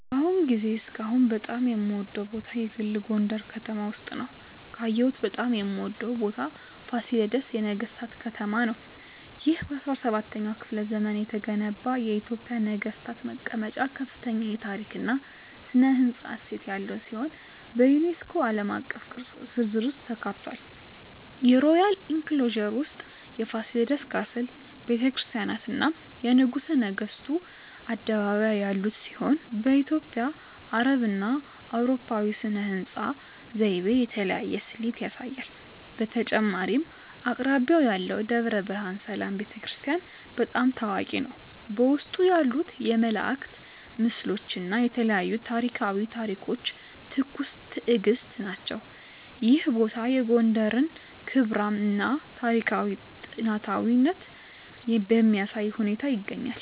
በአሁኑ ጊዜ እስካሁን በጣም የምወደዉ ቦታ የግል ጎንደረ ከተማ ውስጥ ነዉ። ካየሁት በጣም የምወደው ቦታ ፋሲለደስ የነገሥታት ከተማ ነው። ይህ በ17ኛው ክፍለ ዘመን የተገነባ የኢትዮጵያ ነገሥታት መቀመጫ ከፍተኛ የታሪክ እና ሥነ ሕንፃ እሴት ያለው ሲሆን፣ በዩኔስኮ ዓለም አቀፍ ቅርስ ዝርዝር ውስጥ ተካትቷል። የሮያል ኢንክሎዜር ውስጥ የፋሲለደስ ካስል፣ ቤተ ክርስቲያናት፣ እና የንጉሠ ነገሥቱ አደባባይ ያሉት ሲሆን፣ በኢትዮጵያ፣ አረብና አውሮፓዊ ሥነ ሕንፃ ዘይቤ የተለያየ ስሌት ያሳያል። በተጨማሪም አቅራቢያው ያለው ደብረ ብርሃን ሰላም ቤተ ክርስቲያን** በጣም ታዋቂ ነው፣ በውስጡ ያሉት የመላእክት ምስሎች እና የተለያዩ ታሪኳዊ ታሪኮች ትኩስ ትእግስት ናቸው። ይህ ቦታ የጎንደርን ክብራም እና ታሪካዊ ጥንታዊነት በሚያሳይ ሁኔታ ይገኛል።